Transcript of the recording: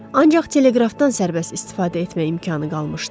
Ancaq teleqrafdan sərbəst istifadə etmək imkanı qalmışdı.